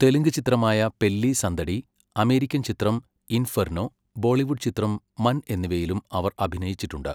തെലുങ്ക് ചിത്രമായ പെല്ലി സന്ദഡി, അമേരിക്കൻ ചിത്രം ഇൻഫെർനോ, ബോളിവുഡ് ചിത്രം മൻ എന്നിവയിലും അവർ അഭിനയിച്ചിട്ടുണ്ട്.